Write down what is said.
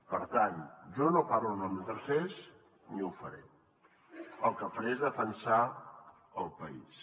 per tant jo no parlo en nom de tercers ni ho faré el que faré és defensar el país